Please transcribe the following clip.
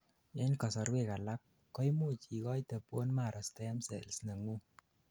en kasorwek alak, koimuch igoite bone marrow stem cells nengung